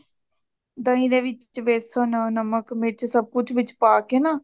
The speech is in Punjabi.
ਦਹੀਂ ਦੇ ਵਿੱਚ ਬੇਸਨ ,ਨਮਕ, ਮਿਰੱਚ ਸਬ ਕੁਛ ਵਿਚ ਪਾਕੇ ਨਾ